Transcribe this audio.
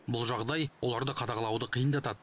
бұл жағдай оларды қадағалауды қиындатады